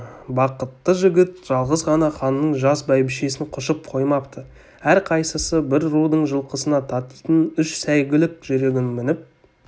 бақытты жігіт жалғыз ғана ханның жас бәйбішесін құшып қоймапты әрқайсысы бір рудың жылқысына татитын үш сәйгүлік жүйрігін мініп